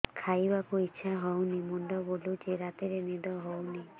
ଖାଇବାକୁ ଇଛା ହଉନି ମୁଣ୍ଡ ବୁଲୁଚି ରାତିରେ ନିଦ ହଉନି